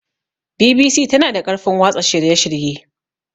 BBC tana da ƙarfin watsa shirye-shirye.